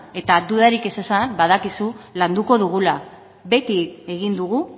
eta dudarik ez izan badakizu landuko dugula beti egin dugu